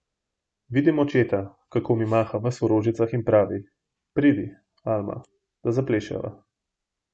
Vidim očeta, kako mi maha ves v rožicah in pravi, pridi, Alma, da zapleševa.